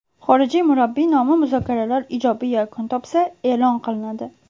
Xorijlik murabbiy nomi muzokaralar ijobiy yakun topsa, e’lon qilinadi.